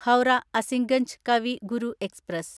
Howrah Azimganj Kavi Guru express